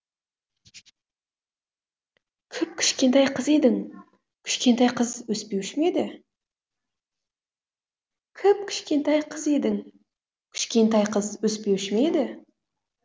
кіп кішкентай қыз едің кішкентай қыз өспеуші ме еді кіп кішкентай қыз едің кішкентай қыз өспеуші ме еді